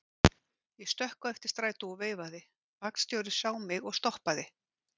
Ég stökk á eftir strætó og veifaði, vagnstjórinn sá mig og stoppaði.